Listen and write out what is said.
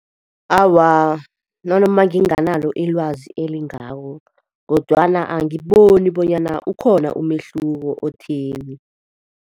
Awa, nanoma nginganalo ilwazi elingako kodwana angiboni bonyana ukhona umehluko otheni.